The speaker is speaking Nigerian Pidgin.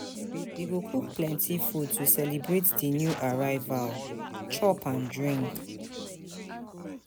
We go cook plenty food to celebrate di new arrival, chop and drink.